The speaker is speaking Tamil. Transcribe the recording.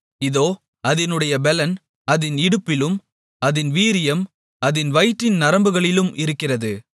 இதோ அதினுடைய பெலன் அதின் இடுப்பிலும் அதின் வீரியம் அதின் வயிற்றின் நரம்புகளிலும் இருக்கிறது